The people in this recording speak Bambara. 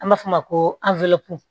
An b'a fɔ o ma ko